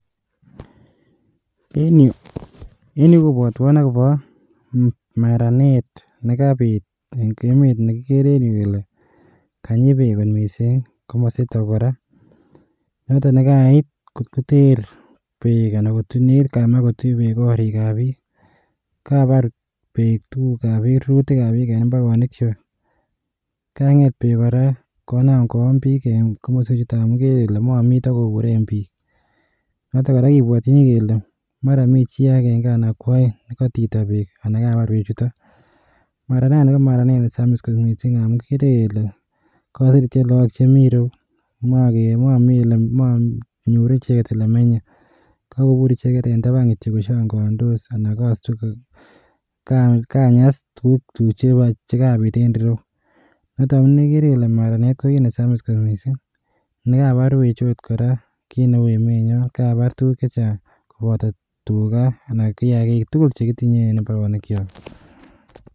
En yu kobwotwon akobo maranet nekabit eng emet ne kikere en yu kele, kanyi beek kot mising komositok kora, notok nekait kot koter beek anan nekit koyamak kotuch beek gorikab piik, kabar beek tukukab piik rurutikab piik en imbarenichwak, kanget beek kora konam koon piik eng komoswechuton amun ikere ile mami oletakoburen piik, notok kora kibwotyini kele mara mi chii akenge anan kwoeng nekatito peek anan kabar beechuto, mara rani ko maranet ne samis kot mising amun kikere kele, kaseretyo lagok chemi reu, manyoru icheket ole menye, kakobur icheket eng taban kityo koshangandos anan kanyas tukuk che kabit en ireu, noto amune kekere kele maranet ko kiit ne samis kot mising, nekabar beechu ot kora ko kiit ne uu emenyon, kabar tukuk che chang koboto tuga anan kiagik tugul che kitinye en imbarenikyok.